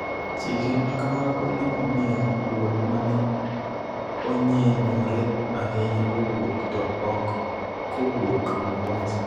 Chike ma kamago ne omiyo duol ma ne onyenyore ahinya owuok, to ok kowuok Mombasa,